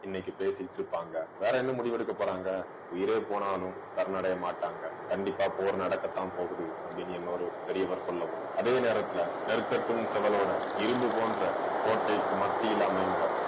இன்னைக்கு பேசிட்டிருப்பாங்க. வேற என்ன முடிவெடுக்கப் போறாங்க உயிரே போனாலும் சரணடைய மாட்டாங்க கண்டிப்பா போர் நடக்கத்தான் போகுது அப்படின்னு, இன்னொரு பெரியவர் சொல்லவும் அதே நேரத்தில நெற்கட்டும் செவலோட இரும்பு போன்ற கோட்டைக்கு மத்தியில் அமைந்த